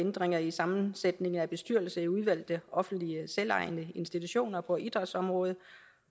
ændringer i sammensætningen af bestyrelser i udvalgte offentlige selvejende institutioner på idrætsområdet